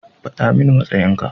Faɗa mani matsayin ka.